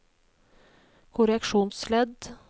korreksjonsledd